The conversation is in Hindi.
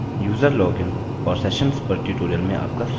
यूज़र लॉगिन और सेशन्स पर ट्यूटोरियल में आपका स्वागत है